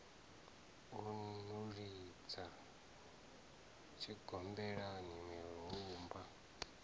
u no lidzwa tshigombelani murumba